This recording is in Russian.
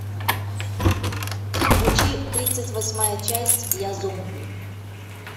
включи тридцать восьмая часть я зомби